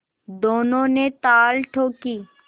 दोनों ने ताल ठोंकी